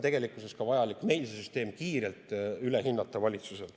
Tegelikkuses on vaja ka valitsusel see süsteem kiirelt üle hinnata.